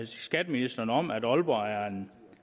skatteministeren om at aalborg er en